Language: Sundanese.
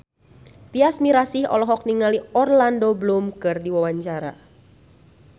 Tyas Mirasih olohok ningali Orlando Bloom keur diwawancara